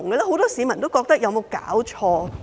很多市民都認為有否搞錯？